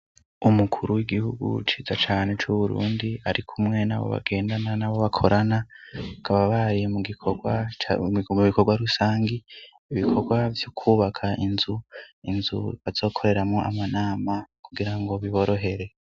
Umukuru w'igihugu ciza cane c'Uburundi arikumwe n'abo bagendana nabo bakorana kaba bayi mu bikorwa rusangi ibikorwa byo kubaka inzu inzu batsokoreramo amanama kugira ngo biborohere.